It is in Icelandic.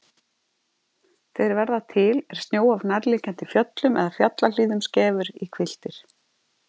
Þeir verða til er snjó af nærliggjandi fjöllum eða fjallahlíðum skefur í hvilftir.